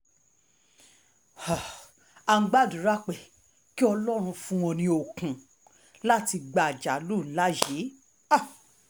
um a gbàdúrà pé kí ọlọ́run fún wọn ní okun láti gba àjálù ńlá yìí um